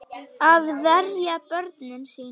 Að verja börnin sín.